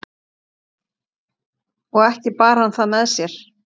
og ekki bar hann það með sér